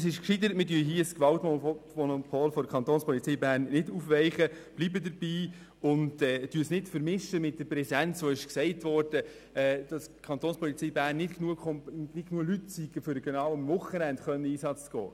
Deshalb ist es gescheiter, hier das Gewaltmonopol der Kantonspolizei Bern nicht aufzuweichen, sondern dabei zu bleiben und das nicht mit der Präsenz zu vermischen, über die gesagt wurde, die Kantonspolizei Bern hätte nicht genügend Leute, um am Wochenende Einsätze zu machen.